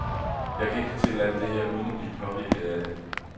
Jeg kan ikke fortælle alt det her, uden at blive påvirket af det.